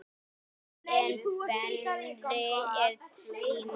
En Benni og Stína?